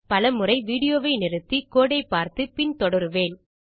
பல முறை வீடியோ வை நிறுத்தி கோடு ஐ பார்த்து பின் தொடருவேன்